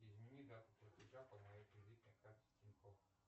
измени дату платежа по моей кредитной карте тинькофф